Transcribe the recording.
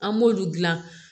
An m'olu dilan